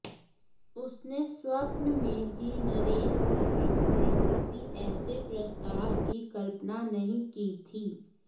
उसने स्वप्न में भी नरेन साहब से किसी ऐसे प्रस्ताव की कल्पना नहीं की थी